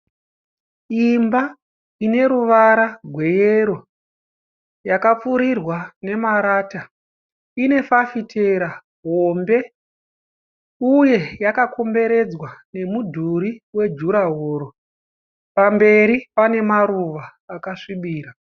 Imba ineruvara gweyero yakapfirirwa nemarata inefafitera hombe uye yakakomberedzwa nemudhuri wedhurahoro pamberi pane maruva akasvibira.